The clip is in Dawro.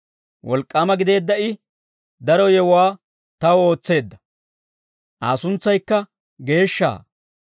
Wolk'k'aama gideedda I, daro yewuwaa taw ootseedda; Aa suntsaykka geeshsha.